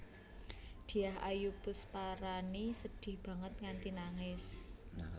Dyah Ayu Pusparani sedih banget nganti nangis